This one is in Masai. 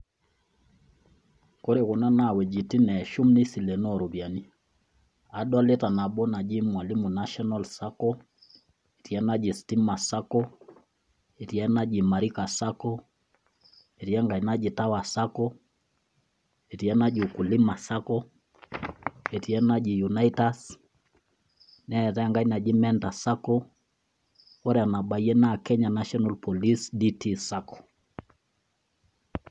Kore kuna naa iwuejitin neshum nisilenoo iropiyiani. Adolita nabo naji mwalimu national sacco , etii enaji stima sacco ,netii enaji imarika sacco , etii enkae naji tower sacco, etii enajo ukulima sacco etii enaji unaitas neetae enkae naji mentor sacco, ore enabayie naa kenya national police dt sacco.